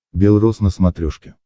бел роз на смотрешке